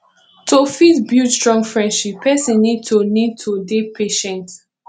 to fit build strong friendship person need to need to dey patient